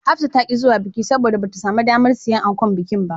Hafsa ta ƙi zuwa bikin, saboda bata samu damar siyan ankon bikin ba.